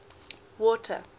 water